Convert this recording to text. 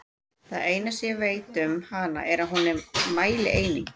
Það eina sem ég veit um hana er að hún er mælieining!